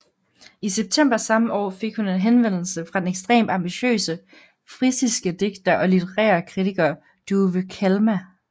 I september samme år fik hun en henvendelse fra den ekstremt ambitiøse frisiske digter og litterære kritiker Douwe Kalma